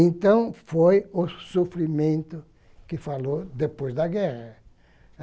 Então foi o sofrimento que falou depois da guerra.